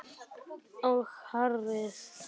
Og hárið.